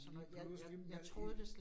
Lige pludselig, i i